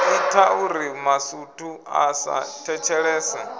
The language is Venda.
itauri masutu a sa thetshelese